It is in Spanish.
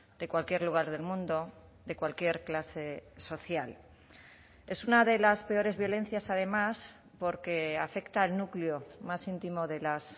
de cualquier lugar del mundo de cualquier clase social es una de las peores violencias además porque afecta al núcleo más íntimo de las